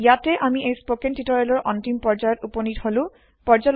ইয়াতে আমি এই স্পৌকেন টিওটৰিয়েলৰ অন্তিম পৰ্য্যায়ত উপনীত হলো